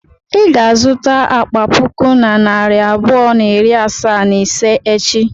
I ga-azụta akpa puku na narị abụọ na iri asaa na ise echi.